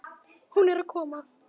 Hún er að koma.